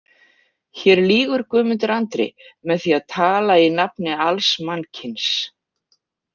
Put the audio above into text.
Hér lýgur Guðmundur Andri með því að tala í nafni alls mannkyns.